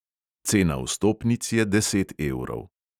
Cena vstopnic je deset evrov.